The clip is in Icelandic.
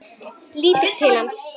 Lítur til hans.